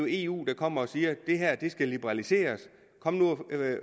eu der kommer og siger det her skal liberaliseres kom nu